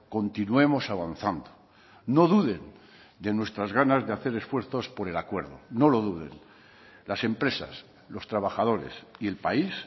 continuemos avanzando no duden de nuestras ganas de hacer esfuerzos por el acuerdo no lo duden las empresas los trabajadores y el país